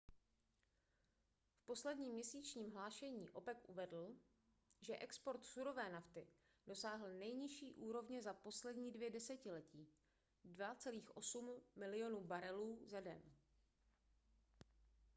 v posledním měsíčním hlášení opec uvedl že export surové nafty dosáhl nejnižší úrovně za poslední dvě desetiletí 2,8 milionu barelů za den